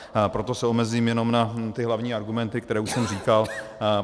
Proto se omezím jenom na ty hlavní argumenty, které už jsem říkal.